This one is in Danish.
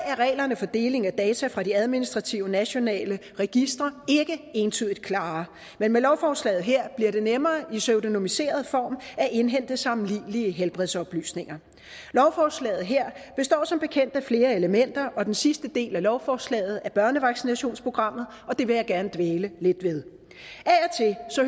er reglerne for deling af data fra de administrative nationale registre ikke entydigt klare men med lovforslaget her bliver det nemmere i pseudonymiseret form at indhente sammenlignelige helbredsoplysninger lovforslaget her består som bekendt af flere elementer og den sidste del af lovforslaget er børnevaccinationsprogrammet og det vil jeg gerne dvæle lidt ved